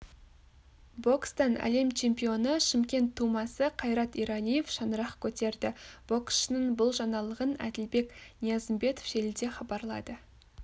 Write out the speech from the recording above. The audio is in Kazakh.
бокстан әлем чемпионы шымкент тумасы қайрат ералиев шаңырақ көтерді боксшының бұл жаңалығын әділбек ниязымбетов желіде хабарлады